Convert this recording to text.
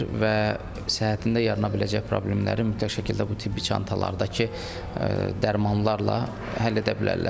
Və səhhətində yarana biləcək problemləri mütləq şəkildə bu tibbi çantalardakı dərmanlarla həll edə bilərlər.